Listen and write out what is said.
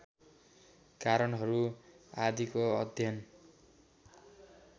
कारणहरू आदिको अध्ययन